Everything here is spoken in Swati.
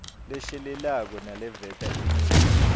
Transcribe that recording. leshelelako naleveta imiva